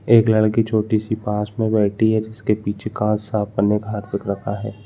एक लड़की छोटी सी पास में बैठी है जिस के पीछे कार साफ करने का हार्पिक रखा है।